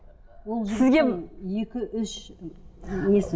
сізге екі үш несі